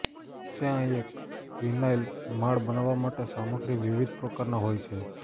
ત્યાં એક વિનાઇલ માળ બનાવવા માટે સામગ્રી વિવિધ પ્રકારના હોય છે